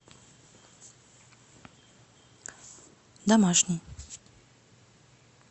домашний